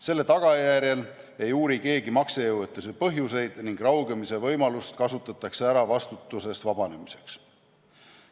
Seetõttu ei uuri keegi maksejõuetuse põhjuseid ning raugemise võimalust kasutatakse ära vastutusest vabanemiseks.